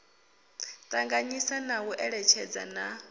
ṱanganyisa na u eletshedzana na